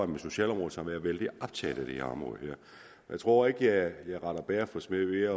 med socialområdet som er vældig optaget af det her område jeg tror ikke at jeg retter bager for smed ved